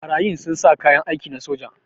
Barayin sun sa kayan aiki na soja.